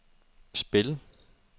spil